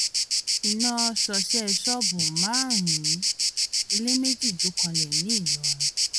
iná ṣọṣẹ́ ṣọ́ọ̀bù márùn-ún ilé méjì jó kanlẹ̀ níìlọrin